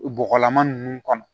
Bɔgɔlama ninnu kɔnɔ